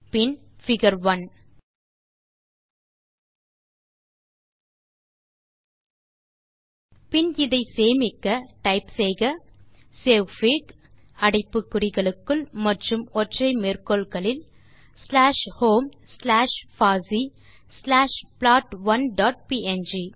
பின் figure 1 பின் இதை சேமிக்க டைப் செய்க சேவ்ஃபிக் அடைப்பு குறிகளுக்குள் மற்றும் ஒற்றை மேற்கோள்களில் ஸ்லாஷ் ஹோம் ஸ்லாஷ் பாசி ஸ்லாஷ் ப்ளாட்1 டாட் ப்ங்